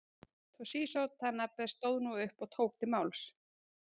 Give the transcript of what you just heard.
Toshizo Tanabe stóð nú upp og tók til máls.